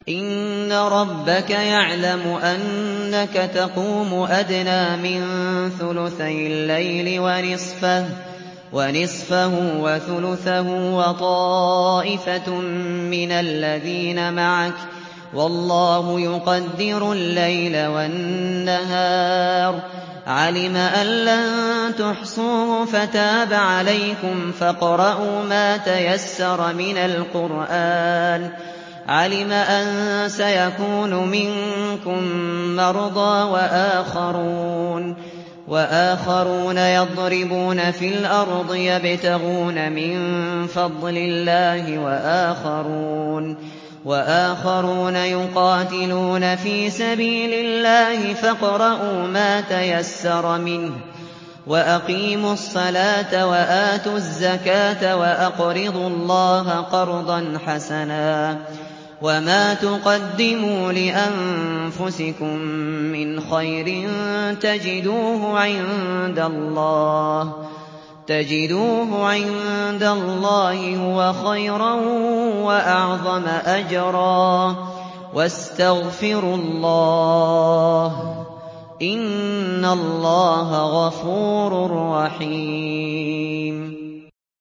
۞ إِنَّ رَبَّكَ يَعْلَمُ أَنَّكَ تَقُومُ أَدْنَىٰ مِن ثُلُثَيِ اللَّيْلِ وَنِصْفَهُ وَثُلُثَهُ وَطَائِفَةٌ مِّنَ الَّذِينَ مَعَكَ ۚ وَاللَّهُ يُقَدِّرُ اللَّيْلَ وَالنَّهَارَ ۚ عَلِمَ أَن لَّن تُحْصُوهُ فَتَابَ عَلَيْكُمْ ۖ فَاقْرَءُوا مَا تَيَسَّرَ مِنَ الْقُرْآنِ ۚ عَلِمَ أَن سَيَكُونُ مِنكُم مَّرْضَىٰ ۙ وَآخَرُونَ يَضْرِبُونَ فِي الْأَرْضِ يَبْتَغُونَ مِن فَضْلِ اللَّهِ ۙ وَآخَرُونَ يُقَاتِلُونَ فِي سَبِيلِ اللَّهِ ۖ فَاقْرَءُوا مَا تَيَسَّرَ مِنْهُ ۚ وَأَقِيمُوا الصَّلَاةَ وَآتُوا الزَّكَاةَ وَأَقْرِضُوا اللَّهَ قَرْضًا حَسَنًا ۚ وَمَا تُقَدِّمُوا لِأَنفُسِكُم مِّنْ خَيْرٍ تَجِدُوهُ عِندَ اللَّهِ هُوَ خَيْرًا وَأَعْظَمَ أَجْرًا ۚ وَاسْتَغْفِرُوا اللَّهَ ۖ إِنَّ اللَّهَ غَفُورٌ رَّحِيمٌ